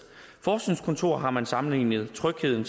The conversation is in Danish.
forskningskontor har man sammenlignet trygheden